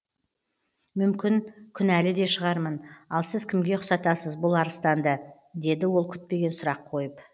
мүмкін күнәлі де шығармын ал сіз кімге ұқсатасыз бұл арыстанды деді ол күтпеген сұрақ қойып